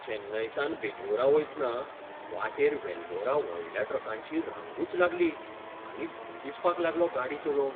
चेन्नयसावन बेंगळूरा वयतना वाटेर वेल्लोरा व्हडल्या ट्रकांची रांगूच लागली आनी भंय दिसपाक लागलो गाडी चलोवंक.